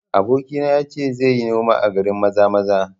Abokina ya ce zai yi noma a garin Maza-maza